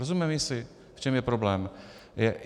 Rozumíme si, v čem je problém?